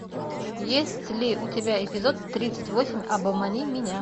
есть ли у тебя эпизод тридцать восемь обмани меня